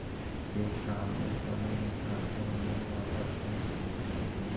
के काम में कमी निकाल कर उन्हें वापस भेज देते थे